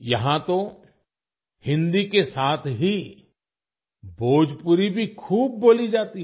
यहाँ तो हिन्दी के साथ ही भोजपुरी भी खूब बोली जाती है